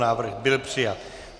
Návrh byl přijat.